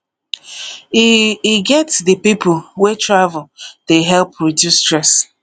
e e get di pipo wey travel dey help reduce stress